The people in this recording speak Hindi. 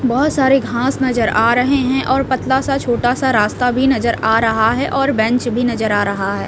बहुत सारे घास नजर आ रहे हैं और पतला सा छोटा सा रास्ता भी नजर आ रहा है और बेंच भी नजर आ रहा है।